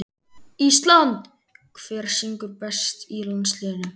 ÍSLAND Hver syngur best í landsliðinu?